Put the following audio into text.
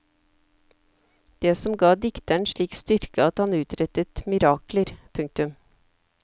Det som ga dikteren slik styrke at han utrettet mirakler. punktum